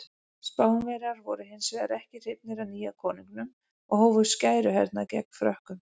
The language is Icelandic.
Spánverjar voru hins vegar ekki hrifnir af nýja konunginum og hófu skæruhernað gegn Frökkum.